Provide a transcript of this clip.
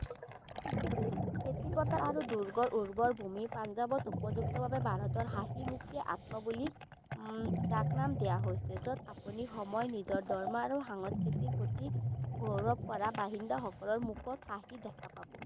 খেতি পথাৰ আৰু দুৰ্গৰ ঊৰ্ব্বৰ ভূমি পাঞ্জাবত উপযুক্তভাবে ভাৰতৰ হাঁহিমুখীয়া আত্মবলীৰ যাক নাম দিয়া হৈছে যত আপুনি নিজৰ সময় নিজৰ দৰমহা আৰু সংস্কৃতি প্ৰতি গৌৰব কৰা বাসিন্দাসকলৰ মুখত হাঁহি দেখা পাব।